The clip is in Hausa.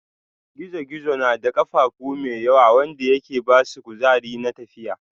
gizo-gizo na da kafafu mai yawa wanda yake basu kuzari na tafiya.